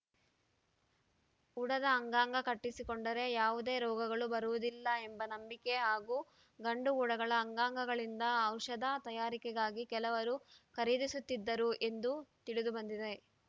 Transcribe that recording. ಉಡದ ಅಂಗಾಂಗ ಕಟ್ಟಿಸಿಕೊಂಡರೆ ಯಾವುದೇ ರೋಗಗಳು ಬರುವುದಿಲ್ಲ ಎಂಬ ನಂಬಿಕೆ ಹಾಗೂ ಗಂಡು ಉಡಗಳ ಅಂಗಾಂಗಗಳಿಂದ ಔಷಧ ತಯಾರಿಕೆಗಾಗಿ ಕೆಲವರು ಖರೀದಿಸುತ್ತಿದ್ದರು ಎಂದು ತಿಳಿದುಬಂದಿದೆ